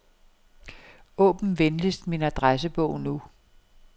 Åbn venligst min adressebog nu.